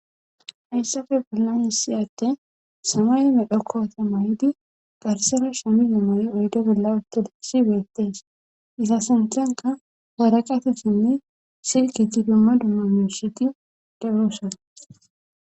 Hayssafe bellani siyatte samay medhokkoota may'idi garsera shamidi moyi uydo bella uttodessi beettees isa santanka woraqatesinne sirketi dumma dumma miyossheti de'oosona.